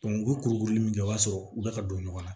u ye kurukuru min kɛ o y'a sɔrɔ u bɛ ka don ɲɔgɔn na